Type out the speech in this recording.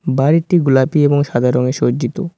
বাড়িটি গুলাপি এবং সাদা রঙে সজ্জিত।